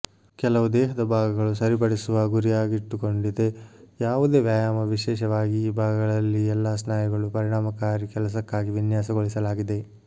ಕೆಲವು ದೇಹದ ಭಾಗಗಳು ಸರಿಪಡಿಸುವ ಗುರಿಯಾಗಿಟ್ಟುಕೊಂಡಿದೆ ಯಾವುದೇ ವ್ಯಾಯಾಮ ವಿಶೇಷವಾಗಿ ಈ ಭಾಗಗಳಲ್ಲಿ ಎಲ್ಲಾ ಸ್ನಾಯುಗಳು ಪರಿಣಾಮಕಾರಿ ಕೆಲಸಕ್ಕಾಗಿ ವಿನ್ಯಾಸಗೊಳಿಸಲಾಗಿದೆ